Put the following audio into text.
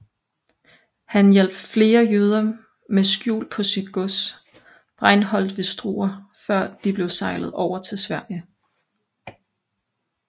Han hjalp flere jøder med skjul på sit gods Breinholdt ved Struer før de blev sejlet over til Sverige